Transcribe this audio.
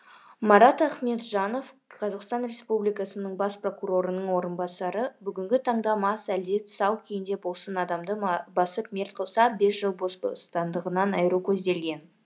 марат ахметжанов қазақстан республикасының бас прокурорының орынбасары бүгінгі таңда мас әлде тысау күйінде болсын адамды басып мерт қылса бес жыл бас бостандығынан айыру көзделген